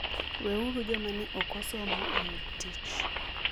Weuru joma ne ok osomo oyud tich.